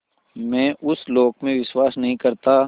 मैं उस लोक में विश्वास नहीं करता